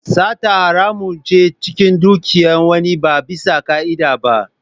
Sata haramun ne cin dukiyar wani ba bisa ka'ida ba.